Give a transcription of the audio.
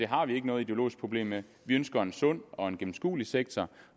har vi ikke noget ideologisk problem med vi ønsker en sund og gennemskuelig sektor